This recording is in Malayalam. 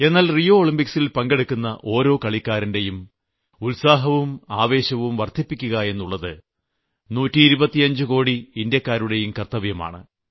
എന്നാൽ റിയോ ഒളിംമ്പിക്സിൽ പങ്കെടുക്കുന്ന ഓരോ കളിക്കാരന്റെയും ഉത്സാഹവും ആവേശവും വർദ്ധിപ്പിക്കുക എന്നുള്ളത് 125 കോടി ഇന്ത്യാക്കാരുടെയും കർത്തവ്യമാണ്